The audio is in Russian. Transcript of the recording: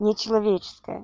не человеческое